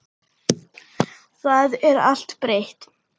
Það er allt breytt.